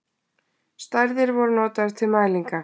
Stærðir voru notaðar til mælinga.